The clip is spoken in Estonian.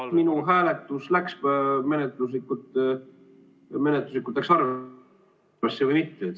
Kas minu hääletus menetluslikult läks arvesse või mitte?